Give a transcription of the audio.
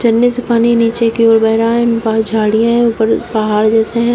झरने से पानी नीचे की ओर बेह रहा है पास झाड़ियां है ऊपर पहाड़ जैसे हैं।